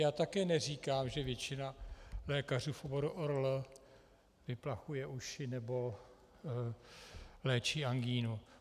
Já také neříkám, že většina lékařů v oboru ORL vyplachuje uši nebo léčí angínu.